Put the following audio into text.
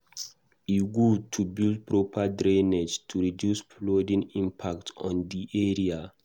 E good to build proper drainage to reduce flooding impact on di area.